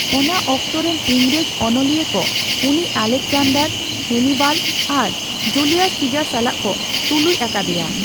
ᱚᱱᱟ ᱚᱠᱛᱚᱨᱮᱱ ᱤᱝᱨᱮᱡᱽ ᱚᱱᱚᱞᱤᱭᱟᱹ ᱠᱚ ᱩᱱᱤ ᱟᱞᱮᱠᱡᱟᱱᱰᱟᱨ, ᱦᱮᱱᱤᱵᱟᱞ ᱟᱨ ᱡᱩᱞᱤᱭᱟᱥ ᱥᱤᱡᱟᱨ ᱥᱟᱞᱟᱜ ᱠᱚ ᱛᱩᱞᱩᱡ ᱟᱠᱟᱫᱮᱭᱟ ᱾